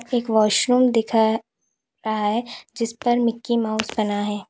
एक वॉशरूम दिखा रहा है जिसपर मिकी माउस बना है।